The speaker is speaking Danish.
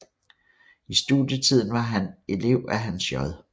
I studietiden var han elev af Hans J